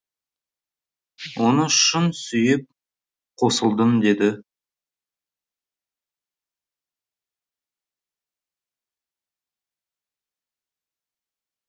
оны шын сүйіп қосылдым деді